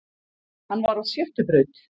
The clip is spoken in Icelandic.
Hann var á sjöttu braut